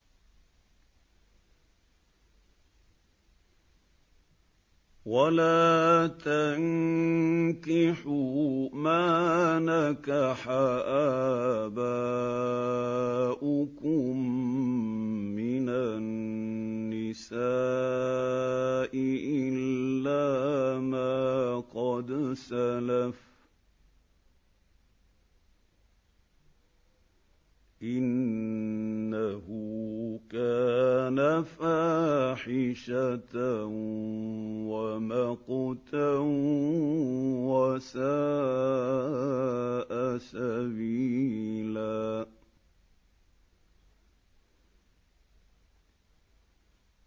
وَلَا تَنكِحُوا مَا نَكَحَ آبَاؤُكُم مِّنَ النِّسَاءِ إِلَّا مَا قَدْ سَلَفَ ۚ إِنَّهُ كَانَ فَاحِشَةً وَمَقْتًا وَسَاءَ سَبِيلًا